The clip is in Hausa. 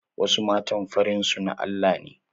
Wasu matan farin su na Allah ne.